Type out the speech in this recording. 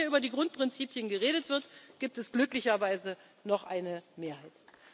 Wann immer hier über die Grundprinzipien geredet wird, gibt es glücklicherweise noch eine Mehrheit.